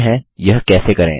देखते हैं यह कैसे करें